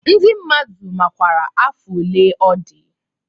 Ndị mmadụ makwara afọ one ọ dị